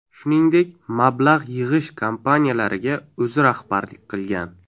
Shuningdek, mablag‘ yig‘ish kompaniyalariga o‘zi rahbarlik qilgan.